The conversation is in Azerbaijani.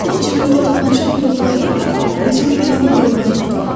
Mən cibimdən tapançamı yoxlayaraq özümü ilana doğru atdım.